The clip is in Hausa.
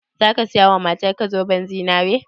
Zaka siya wa matar ka zoben zinare?